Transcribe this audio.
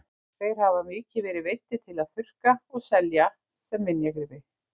Þeir hafa mikið verið veiddir til að þurrka og selja sem minjagripi.